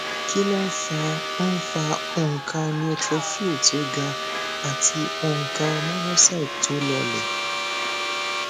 kí ló ń fa ń fa onka neutrophil tó gà àti onka monocyte tó lolẹ